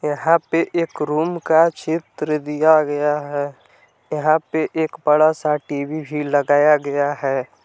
यहां पे एक रूम का चित्र दिया गया है यहां पे एक बड़ा सा टीवी भी लगाया गया है।